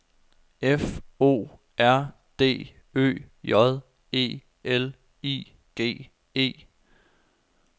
F O R D Ø J E L I G E